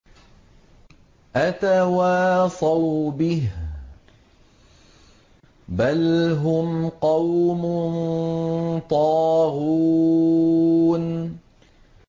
أَتَوَاصَوْا بِهِ ۚ بَلْ هُمْ قَوْمٌ طَاغُونَ